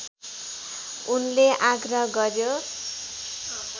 उनले आग्रह गर्‍यो